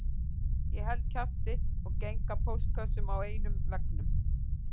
Ég held kjafti og geng að póstkössum á einum veggnum